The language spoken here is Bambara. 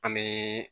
An bɛ